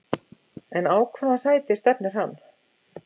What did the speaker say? En á hvaða sæti stefnir hann?